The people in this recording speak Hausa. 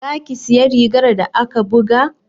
Za ki siya rigar da aka buga?